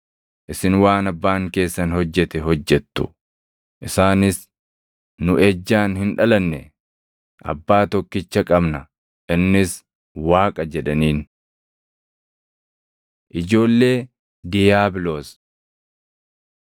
Isin waan abbaan keessan hojjete hojjettu.” Isaanis, “Nu ejjaan hin dhalanne. Abbaa tokkicha qabna; innis Waaqa” jedhaniin. Ijoollee Diiyaabiloos